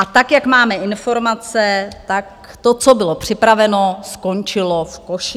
A tak, jak máme informace, tak to, co bylo připraveno, skončilo v koši.